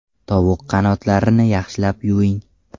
Tovuq qanotlarini yaxshilab yuving.